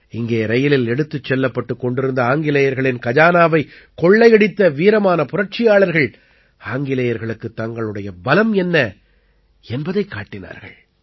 இங்கே ரயிலில் எடுத்துச் செல்லப்பட்டுக் கொண்டிருந்த ஆங்கிலேயர்களின் கஜானாவைக் கொள்ளையடித்த வீரமான புரட்சியாளர்கள் ஆங்கிலேயர்களுக்குத் தங்களுடைய பலம் என்ன என்பதைக் காட்டினார்கள்